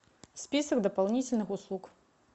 список дополнительных услуг